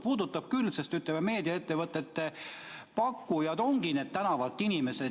Puudutab küll, sest meediaettevõtete pakkujad ongi need inimesed tänavalt.